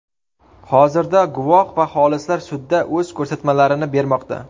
Hozirda, guvoh va xolislar sudda o‘z ko‘rsatmalarini bermoqda.